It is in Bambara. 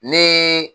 Ni